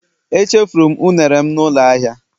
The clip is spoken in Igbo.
Echefuru m unere'm na ụlọ ahịa